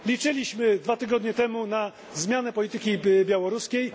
Liczyliśmy dwa tygodnie temu na zmianę polityki białoruskiej.